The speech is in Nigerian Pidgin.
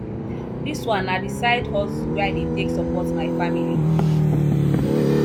dis one na di side hustle wey i dey take support my family